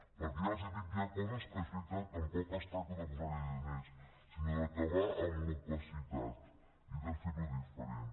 perquè ja els ho dic hi ha coses que és veritat tampoc es tracta de posar hi diners sinó d’acabar amb l’opacitat i de fer ho diferent